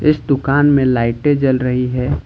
इस दुकान में लाइटें जल रही है।